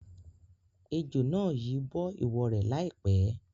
Ejò náà yìí bọ ìwọ rẹ lai pẹ̀.